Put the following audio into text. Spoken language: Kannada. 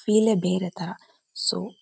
ಫಿಲೇ ಬೇರೆ ತರ ಸೋ --